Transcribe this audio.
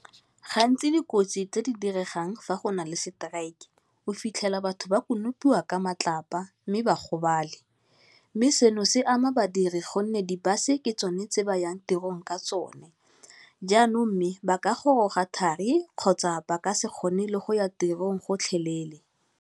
Gantsi dikotsi tse di diregang fa go nale strike, o fitlhela batho ba konopiwang ka matlapa mme ba gobale, mme seno se ama badiri gonne di bus ke tsone tse ba yang tirong ka tsone, jaanong mme ba ka goroga thari kgotsa ba ka se kgone le go ya tirong gotlhelele.